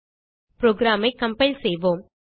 program ஐ compile செய்வோம்